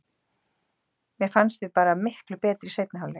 Mér fannst við bara miklu betri í seinni hálfleik.